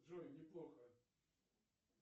джой неплохо